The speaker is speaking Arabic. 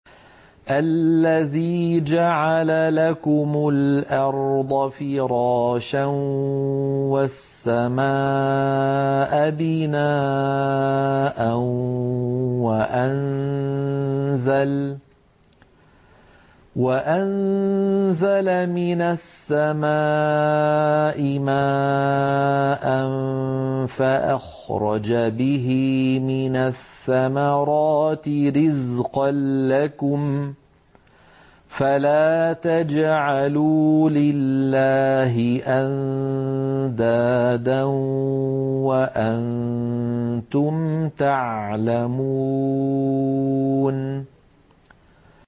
الَّذِي جَعَلَ لَكُمُ الْأَرْضَ فِرَاشًا وَالسَّمَاءَ بِنَاءً وَأَنزَلَ مِنَ السَّمَاءِ مَاءً فَأَخْرَجَ بِهِ مِنَ الثَّمَرَاتِ رِزْقًا لَّكُمْ ۖ فَلَا تَجْعَلُوا لِلَّهِ أَندَادًا وَأَنتُمْ تَعْلَمُونَ